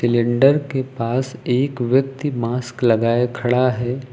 Cylinder के पास एक व्यक्ति मास्क लगाए खड़ा है।